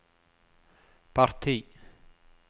parti